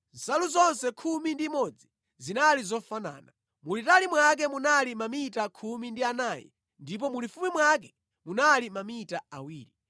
Nsalu zonse khumi ndi imodzi zinali zofanana. Mulitali mwake munali mamita khumi ndi anayi ndipo mulifupi mwake munali mamita awiri.